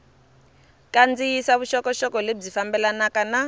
kandziyisa vuxokoxoko lebyi fambelanaka na